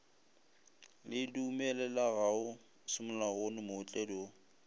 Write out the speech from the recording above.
le dumelelegago semolaong mootledi wo